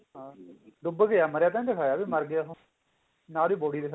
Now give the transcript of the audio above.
ਡੁੱਬ ਗਿਆ ਮਰਿਆ ਤਾਂ ਨੀ ਦਿਖਾਇਆ ਵੀ ਉਹ ਮਰ ਗਿਆ